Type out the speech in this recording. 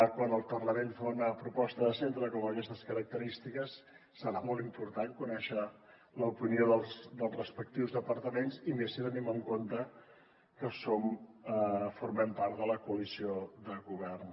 quan el parlament fa una proposta de centre d’aquestes característiques serà molt important conèixer l’opinió dels respectius departaments i més si tenim en compte que som formem part de la coalició de govern